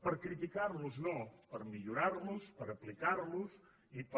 per criticar los no per millorar los per aplicar los i per